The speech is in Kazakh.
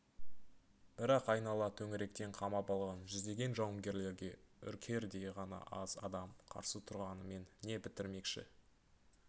бірақ айнала төңіректен қамап алған жүздеген жауынгерлерге үркердей ғана аз адам қарсы тұрғанымен не бітірмекші